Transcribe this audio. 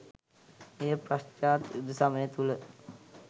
එය පශ්චාත් යුද සමය තුල